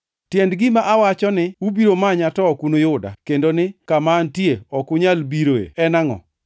Tiend gima nowacho ni, ‘Ubiro manya to ok unuyuda’ kendo ni, ‘kama antie ok unyal bire’ en angʼo?”